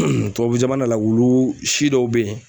tubabu jamana la wulusi dɔ be yen